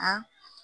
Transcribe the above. A